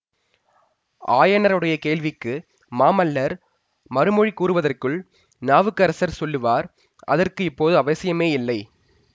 ஆயனருடைய கேள்விக்கு மாமல்லர் மறுமொழி கூறுவதற்குள் நாவுக்கரசர் சொல்லுவார் அதற்கு இப்போது அவசியமேயில்லை